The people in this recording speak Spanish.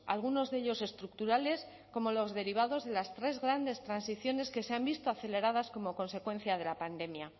algunos de ellos estructurales como los derivados de las tres grandes transiciones que se han visto aceleradas como consecuencia de la pandemia